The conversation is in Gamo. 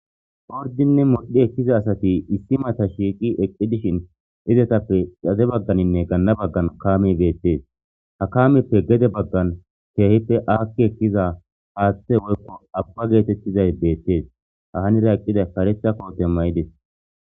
ordinne modhi eqiza asati issi mata shiiqi eqqi dishin izatappe xade bagganinne ganna baggan kaame beettees ha kaameppe gede baggan keehippe aakki eqiza haaththe woykko abba geetettizay beettees ha hanira eqqiday karetha kootiya may7idis